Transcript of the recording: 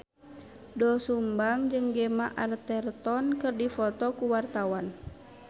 Doel Sumbang jeung Gemma Arterton keur dipoto ku wartawan